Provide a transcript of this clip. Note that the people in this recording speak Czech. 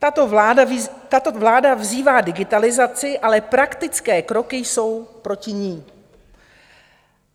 Tato vláda vzývá digitalizaci, ale praktické kroky jsou proti ní.